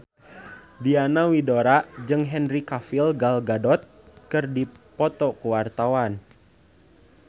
Diana Widoera jeung Henry Cavill Gal Gadot keur dipoto ku wartawan